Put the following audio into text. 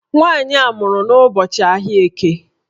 Nwaanyị a mụrụ n'ụbọchị ahịa Eke